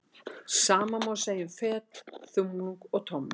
Sama má segja um fet, þumlung og tommu.